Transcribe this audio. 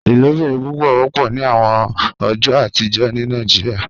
Ilobirin pupọ wọpọ ni awọn ọjọ atijọ ni Nigeria